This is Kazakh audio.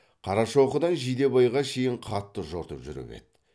қарашоқыдан жидебайға шейін қатты жортып жүріп еді